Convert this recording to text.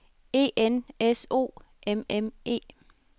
E N S O M M E